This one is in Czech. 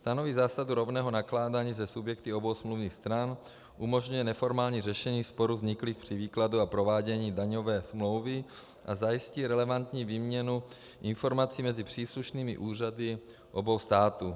Stanoví zásadu rovného nakládání se subjekty obou smluvních stran, umožňuje neformální řešení sporů vzniklých při výkladu a provádění daňové smlouvy a zajistí relevantní výměnu informací mezi příslušnými úřady obou států.